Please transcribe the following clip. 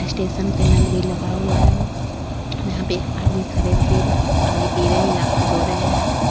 Station पे नल भी लगा हुआ है। हम्म यहाँ पे एक आदमी खड़े हो के पानी पी रहे है या हाथ धो रहे है।